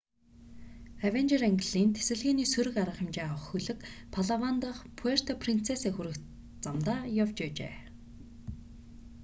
авенжер ангиллын тэсэлгээний сөрөг арга хэмжээ авах хөлөг палаван дахь пуэрто принцеса хүрэх замдаа явж байжээ